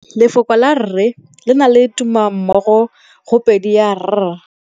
Lefoko la rre, le na le tumammogôpedi ya, r.